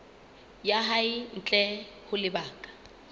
ya hae ntle ho lebaka